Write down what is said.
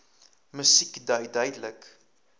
musiek dui duidelik